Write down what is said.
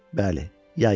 Bəli, yay idi.